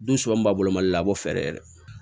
Dun b'a bolo mali la a bɛ fɛɛrɛ yɛrɛ